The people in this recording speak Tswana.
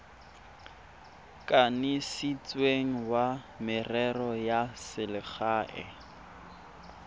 kanisitsweng wa merero ya selegae